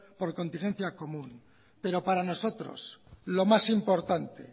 por contingencia común pero para nosotros lo más importante